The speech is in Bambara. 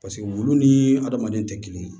Paseke wulu ni adamaden tɛ kelen ye